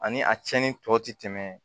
Ani a cɛnni tɔ ti tɛmɛ